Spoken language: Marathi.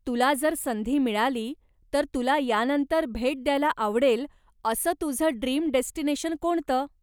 तुला जर संधी मिळाली, तर तुला यानंतर भेट द्यायला आवडेल असं तुझं ड्रीम डेस्टिनेशन कोणतं?